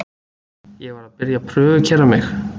Ég var að byrja að prufukeyra mig.